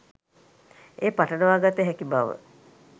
එය පටලවා ගත හැකි බව